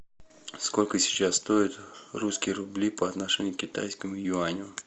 сколько сейчас стоят русские рубли по отношению к китайскому юаню